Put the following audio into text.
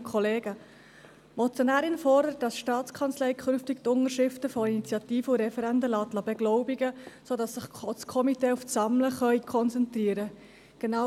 Die Motionärin fordert, dass die STA künftig die Unterschriften von Initiativen und Referenden beglaubigen lässt, sodass sich die Komitees auf das Sammeln konzentrieren können.